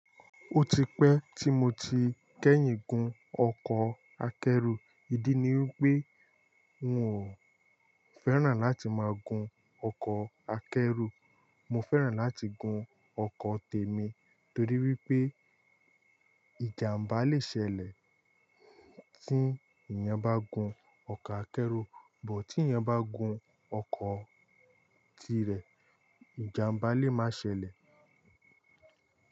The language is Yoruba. Ó ti pẹ́ tí mo ti kẹ́yìn gun ọkọ̀ akẹ́rù. Ìdí ni wipé n ò fẹ́ràn láti ma gun ọkọ̀ akẹ́rù. Mọ fẹ́ràn láti gun ọkọ̀ tèmi torí wípé ìjàmbá le sẹlẹ̀ tí ìyẹn bá gun ọkọ̀ akẹ́rù, but tí ìyẹn bá gun ọkọ̀ tirẹ̀ ìjàmbá lé máa ṣẹlẹ̀